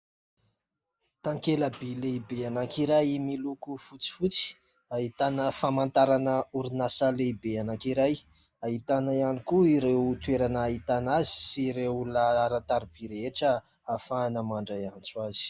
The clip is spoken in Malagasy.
Takela-by lehibe anankiray miloko fotsifotsy, ahitana famantarana orinasa lehibe anankiray, ahitana ihany koa ireo toerana ahitana azy sy ireo laharan-taribia rehetra ahafahana mandray antso azy.